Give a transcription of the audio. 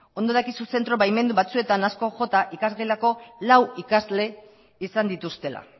ondo dakizu zentro baimendu batzuetan asko jota ikasgelako lau ikasle izan dituztela